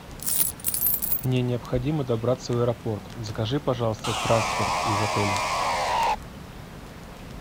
мне необходимо добраться в аэропорт закажи пожалуйста трансфер из отеля